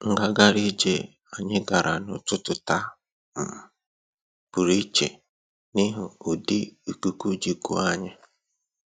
Ngagharị ije anyị gara n'ụtụtụ taa um pụrụ iche n'ihi ụdị ikuku ji kuo anyị